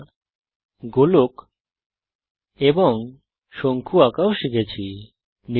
আমরা গোলক এবং শঙ্কু আঁকাও শিখেছি